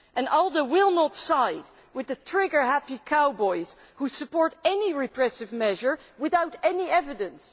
ALDE will not side with the trigger happy cowboys who support any repressive measure without evidence.